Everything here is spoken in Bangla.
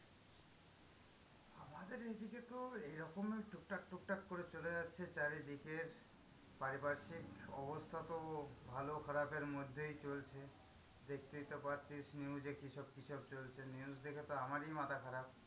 আমাদের এদিকে তো এইরকমই টুক টাক টুক টাক করে চলে যাচ্ছে চারিদিকে। পারিপার্শ্বিক অবস্থা তো ভালো খারাপ এর মধ্যেই চলছে। দেখতেই তো পাচ্ছিস news এ কিসব কিসব চলছে? news দেখে তো আমারই মাথা খারাপ।